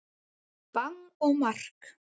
Bang og mark!